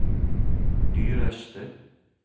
dyreste